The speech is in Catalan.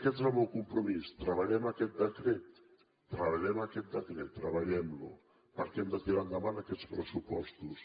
i aquest és el meu compromís treballem aquest decret treballem aquest decret treballem lo perquè hem de tirar endavant aquests pressupostos